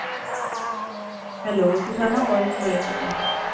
Hello तुझा ना voice break होतोय.